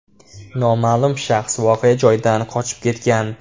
Noma’lum shaxs voqea joyidan qochib ketgan.